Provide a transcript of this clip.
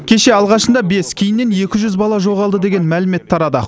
кеше алғашында бес кейіннен екі жүз бала жоғалды деген мәлімет тарады